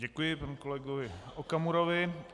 Děkuji panu kolegovi Okamurovi.